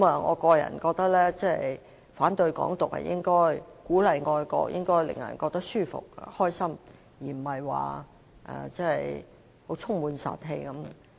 我個人認為反對"港獨"是應該的，鼓勵愛國是應該令人覺得舒服和高興的，而非充滿殺氣的樣子。